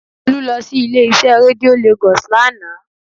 Olú lọ sí ilé-iṣẹ́ rédíó Lagos lánàá